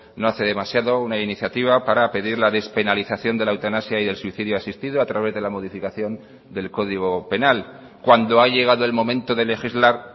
no hace demasiado una iniciativa para pedir la despenalización de la eutanasia y del suicidio asistido a través de la modificación del código penal cuando ha llegado el momento de legislar